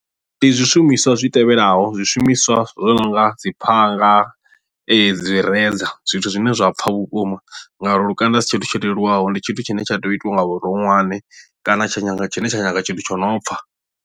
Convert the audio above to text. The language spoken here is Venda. Ndi zwishumiswa zwi tevhelaho zwishumiswa zwo no nga dzi phanga dzi razor zwithu zwine zwa pfha vhukuma ngauri lukanda asi tshithu tsho leluwaho ndi tshithu tshine tsha tea u itiwa nga vhuronwane kana tsha nyaga tshine tsha nyaga tshithu tsho no pfha.